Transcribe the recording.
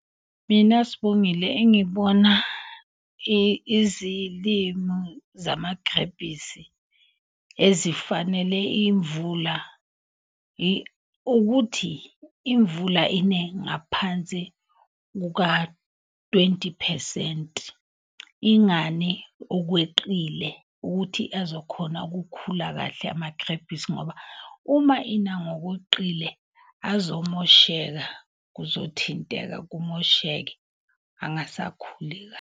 Mina Sibongile, engikubona izilimu zamagrebhisi ezifanele imvula. Ukuthi imvula ine ngaphansi kuka-twenty phesenti, ingani okweqile. Ukuthi azokhona ukukhula kahle amagrebhisi ngoba uma ina ngokoqile azomoshela. Kuzothinteka kumosheke angasakhuli .